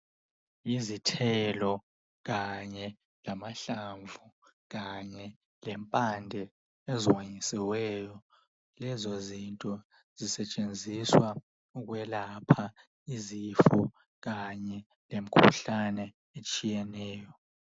Izithelo kanye lamahlamvu kanye lempande ezonyisiweyo, lezo zinto zisetshenziswa ukwelapha izifo kanye lemikhuhlane etshiyeneyo.